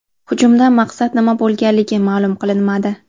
Hujumdan maqsad nima bo‘lganligi ma’lum qilinmadi.